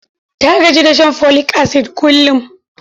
Ta gaji da shan folik-asid kullum.